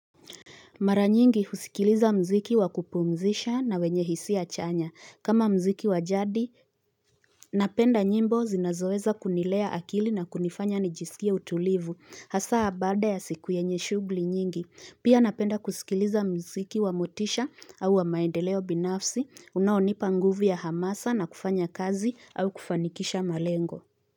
Mara nyingi husikiliza mziki wakupumzisha na wenye hisia chanya. Kama mziki wajadi, napenda nyimbo zinazoweza kunilea akili na kunifanya nijisikie utulivu. Hasa baada ya siku yenye shugli nyingi. Pia napenda kusikiliza mziki wa motisha au wa maendeleo binafsi, unaonipa nguvu ya hamasa na kufanya kazi au kufanikisha malengo.